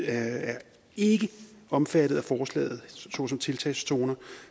er ikke omfattet af forslaget såsom tiltagszoner